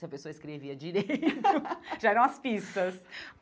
Se a pessoa escrevia direito, já eram as pistas.